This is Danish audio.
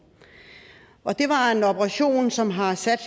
og det var en operation som har sat